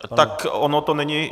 Tak ono to není...